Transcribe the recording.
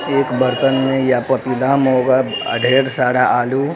एक बर्तन में या पतीला में होगा ढेर सारा आलू।